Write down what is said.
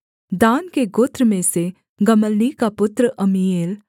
दान के गोत्र में से गमल्ली का पुत्र अम्मीएल